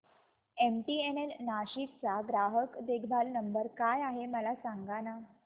MTNL Nashik चा ग्राहक देखभाल नंबर काय आहे मला सांगाना